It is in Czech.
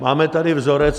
Máme tady vzorec.